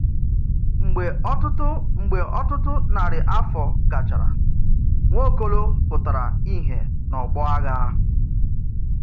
Mgbè ọtụtụ Mgbè ọtụtụ nári afọ gachara, Nwaokolo pụtara ìhè n’ọgbọ agha.